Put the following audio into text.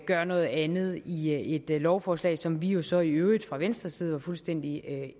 gør noget andet i et lovforslag som vi jo så i øvrigt fra venstres side er fuldstændig